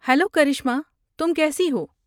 Hello Karishma تم کیسی ہو؟